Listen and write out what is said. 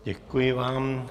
Děkuji vám.